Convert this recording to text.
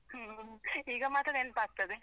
ಹ್ಮ್, ಈಗ ಮಾತ್ರ ನೆನಪಾಗ್ತದೆ.